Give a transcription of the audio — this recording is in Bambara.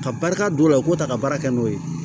Ka barika don o la u k'o ta ka baara kɛ n'o ye